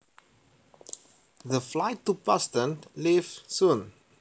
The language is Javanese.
The flight to Boston leaves soon